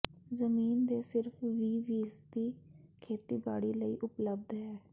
ਜ਼ਮੀਨ ਦੇ ਸਿਰਫ ਵੀਹ ਫੀਸਦੀ ਖੇਤੀਬਾੜੀ ਲਈ ਉਪਲੱਬਧ ਹੈ